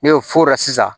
N'o fɔr'o la sisan